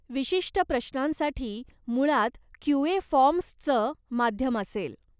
विशिष्ट प्रश्नांसाठी मुळात क्यूए फॉर्म्सचं माध्यम असेल.